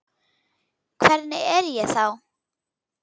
Hvernig er ég þá?